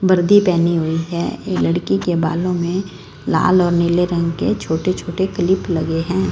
वर्दी पहनी हुई है ये लड़की के बालों में लाल और नीले रंग के छोटे छोटे क्लिप लगे हैं।